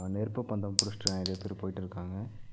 நெருப்பு பந்தம் புடுஷ்ட்டு நெறைய பேர் போயிட்டுருக்காங்க.